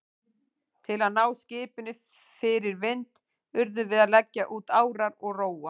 Til að ná skipinu fyrir vind urðum við að leggja út árar og róa.